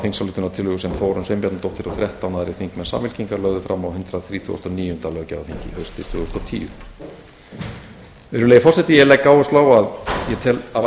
þingsályktunartillögu sem þórunn sveinbjarnardóttir og þrettán aðrir aðrir þingmenn samfylkingar lögðu fram á hundrað þrítugasta og níunda löggjafarþingi haustið tvö þúsund og tíu virðulegi forseti ég legg áherslu á að ég tel afar